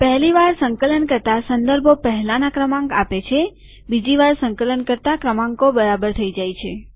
પહેલી વાર સંકલન કરતા સંદર્ભો પહેલાના ક્રમાંક આપે છે બીજી વાર સંકલન કરતા ક્રમાંકો બરાબર થઇ જાય છે